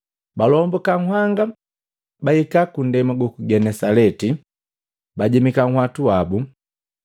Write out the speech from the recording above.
Balombuka nhanga bahika kundema guku Genesaleti, bajemika nhwatu wabu.